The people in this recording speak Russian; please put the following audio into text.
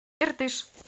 иртыш